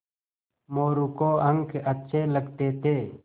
मोरू को अंक अच्छे लगते थे